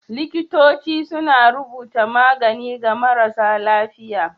Likitoci suna rubuta magani ga marasa lafiya.